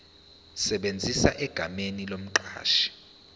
esebenza egameni lomqashi